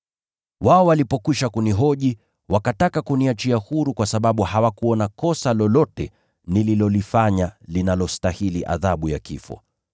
Wao walipokwisha kunihoji, wakataka kuniachia huru kwa sababu hawakuona kosa lolote nililolifanya linalostahili adhabu ya kifo.